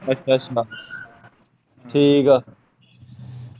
ਅੱਛਾ ਅੱਛਾ ਠੀਕ ਐਂ।